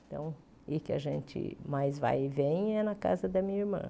Então, e que a gente mais vai e vem é na casa da minha irmã.